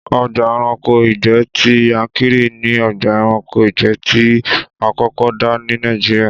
Ọgbà ẹranko ìgbẹ́ ti Yankari ni ọgbà ẹranko ìgbẹ́ tí a kọ́kọ́ dá ní Nàìjíríà